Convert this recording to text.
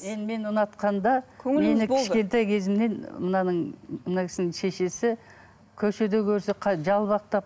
енді мен ұнатқанда кішкентай кезімнен мынаның мына кісінің шешесі көшеде көрсе жалпақтап